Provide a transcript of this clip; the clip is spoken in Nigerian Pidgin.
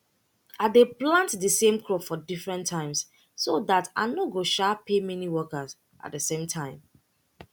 i dey plant de same crop for different times so dat i nor go um pay many workers at de same time